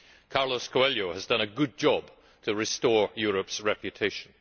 Carlos Coelho has done a good job to restore Europe's reputation.